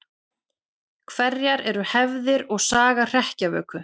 Hverjar eru hefðir og saga hrekkjavöku?